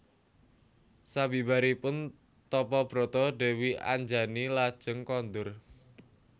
Sabibaripun tapa brata Dèwi Anjani lajeng kondur